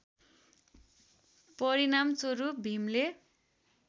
परिणामस्वरूप भीमले